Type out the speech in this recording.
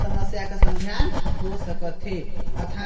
समस्या का सम धान हो सकत हे अऊ थ--